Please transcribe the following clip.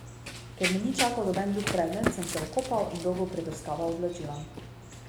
Ker me ni čakal noben drug predmet, sem se okopal in dolgo prebrskaval oblačila.